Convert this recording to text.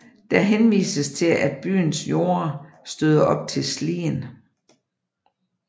Der henvises til at byens jorder støder op til Slien